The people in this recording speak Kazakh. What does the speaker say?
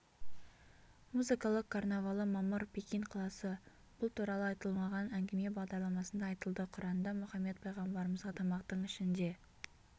музыкалық карнавалы мамыр пекин қаласы бұл туралы айтылмаған әңгіме бағдарламасында айтылды құранда мұхаммед пайғамбарымызға тамақтың ішінде